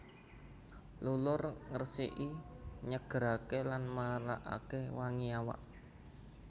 Lulur ngresiki nyegeraké lan marakaké wangi awak